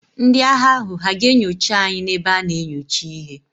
Ndị agha ahụ hà ga-enyocha anyị n'ebe a na-enyocha ihe?